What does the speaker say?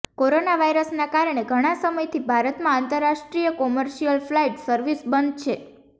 corona વાયરસના કારણે ઘણા સમયથી ભારતમાં આંતરરાષ્ટ્રીય કોમર્શિયલ ફ્લાઈટ સર્વિસ બંધ છે